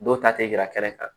Dɔw ta tɛ yira kɛrɛ kan